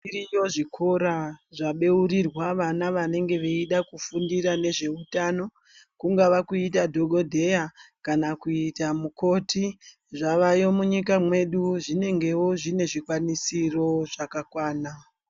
Zviriyo zvikora zvabeurirwa vana vanenge veida kufundira nezveutano kungava kuita dhokodheya kana kuita mukoti zvavayo munyika medu zvinenge zvinevo zvikwanisiro zvakakwana.